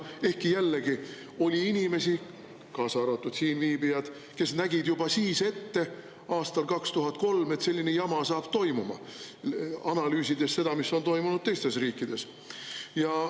Ehkki jällegi, oli inimesi, kaasa arvatud siinviibijad, kes nägid juba siis ette, aastal 2003, et selline jama saab toimuda, analüüsides seda, mis on toimunud teistes riikides.